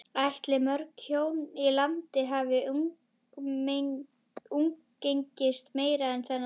Ætli mörg hjón í landinu hafi umgengist meira þennan dag?